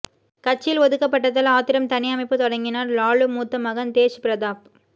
கட்சியில் ஒதுக்கப்பட்டதால் ஆத்திரம் தனி அமைப்பு தொடங்கினார் லாலு மூத்த மகன் தேஜ் பிரதாப்